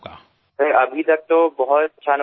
સાહેબ અત્યાર સુધી તો ઘણો સારો અનુભવ રહ્યો છે